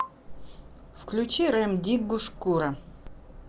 включи рем диггу шкура